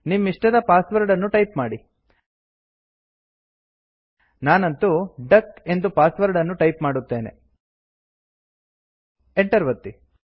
ನಿಮ್ಮಿಷ್ಟದ password ಅನ್ನು type ಮಾಡಿ ನಾನಂತು ಡಕ್ ಎಂದು ಪಾಸ್ವರ್ಡ್ ಅನ್ನು ಟೈಪ್ ಮಾಡುತ್ತೇನೆ Enter ಒತ್ತಿ